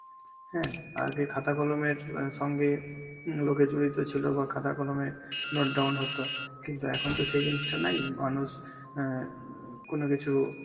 হ্যাঁ আগে খাতা কলমের অ্যাঁ সঙ্গে হম লোকে জড়িত ছিল বা খাতা কলমে note down হত, কিন্তু এখন তো সেই জিনিসটা নেই, মানুষ অ্যাঁ কোন কিছু